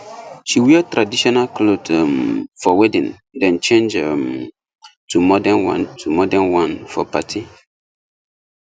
she wear traditional cloth um for wedding then change um to modern one to modern one for party